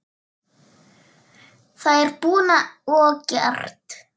Það er búið og gert!